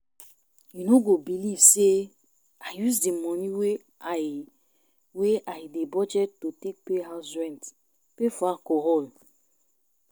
You know go believe say I use the money wey I wey I dey budget to take pay house rent pay for alcohol